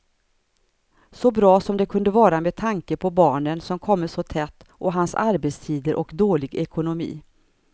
Så bra som det kunde vara med tanke på barnen som kommit så tätt och hans arbetstider och dålig ekonomi.